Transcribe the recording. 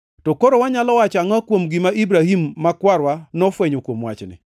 To koro wanyalo wacho angʼo kuom gima Ibrahim ma kwarwa; nofwenyo kuom wachni?